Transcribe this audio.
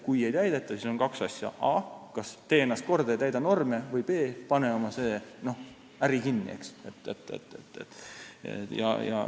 Kui ei täideta, siis on kaks võimalust: kas a) tee ennast korda ja täida norme või b) pane oma äri kinni.